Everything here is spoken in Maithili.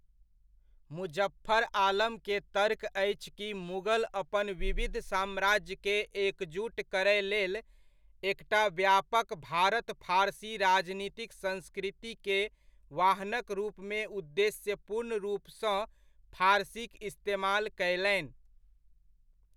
मुजफ्फर आलम के तर्क अछि कि मुगल अपन विविध साम्राज्यकेँ एकजुट करय लेल, एकटा व्यापक भारत फारसी राजनीतिक संस्कृति के वाहनक रूपमे उद्देश्यपूर्ण रूपसँ फारसीक इस्तेमाल कयलनि।